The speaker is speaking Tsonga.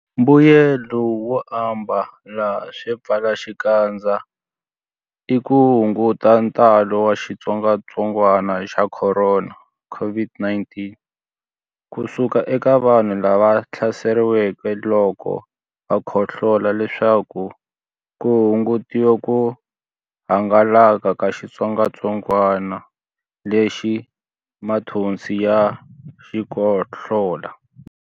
Mbuyelonkulu wo ambala swipfalaxikandza i ku hunguta ntalo wa xitsongwantsongwana xa Khorona, COVID-19, ku suka eka vanhu lava hlaseriweke loko va khohlola leswaku ku hungutiwa ku hangalaka ka xitsongwantsongwana lexi mathonsi ya xikhohlola.